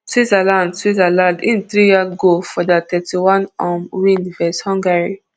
switzerland switzerland im tear dem goal for dia thirty-one um win vs hungary